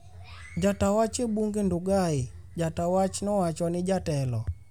Ja ta wach e bunge Ndugai Ja ta wach nowacho ni jatelo